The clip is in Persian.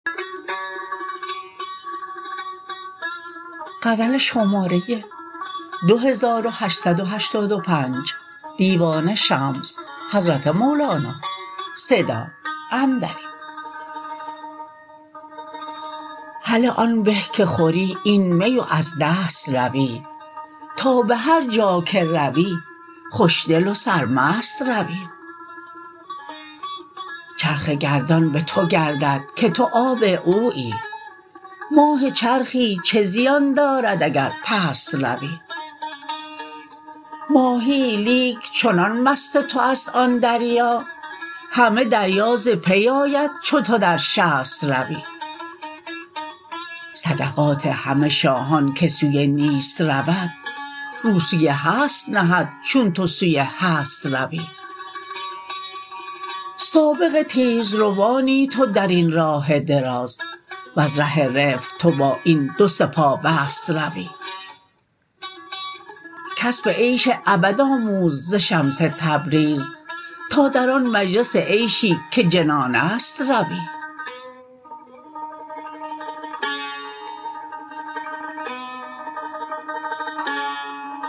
هله آن به که خوری این می و از دست روی تا به هر جا که روی خوشدل و سرمست روی چرخ گردان به تو گردد که تو آب اویی ماه چرخی چه زیان دارد اگر پست روی ماهیی لیک چنان مست توست آن دریا همه دریا ز پی آید چو تو در شست روی صدقات همه شاهان که سوی نیست رود رو سوی هست نهد چون تو سوی هست روی سابق تیزروانی تو در این راه دراز وز ره رفق تو با این دو سه پابست روی کسب عیش ابد آموز ز شمس تبریز تا در آن مجلس عیشی که جنان است روی